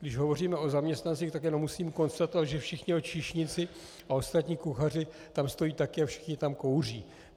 Když hovoříme o zaměstnancích, tak jenom musím konstatovat, že všichni jeho číšníci a ostatní kuchaři tam stojí také a všichni tam kouří.